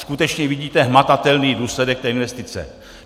Skutečně vidíte hmatatelný důsledek té investice.